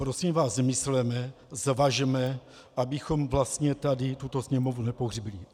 Prosím vás, mysleme, zvažme, abychom vlastně tady tuto Sněmovnu nepohřbili.